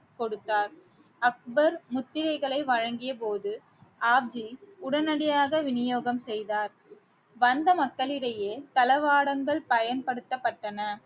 கொடுத்தார் அக்பர் முத்திரைகளை வழங்கிய போது ஆப்ஜி உடனடியாக விநியோகம் செய்தார் வந்த மக்களிடையே தளவாடங்கள் பயன்படுத்தப்பட்டன